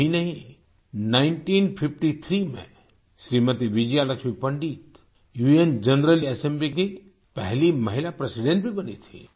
यही नहीं 1953 में श्रीमती विजया लक्ष्मी पंडित उन जनरल असेम्बली की पहली महिला प्रेसिडेंट भी बनी थीं